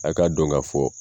A k'a dɔn k'a fɔ.